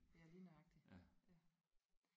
Ja lige nøjagtigt ja